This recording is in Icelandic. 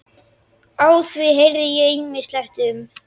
Á því heyrði ég ýmislegt um